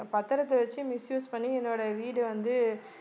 அந்தப் பத்திரத்தை வெச்சு misuse பண்ணி என்னுடைய வீடு வந்து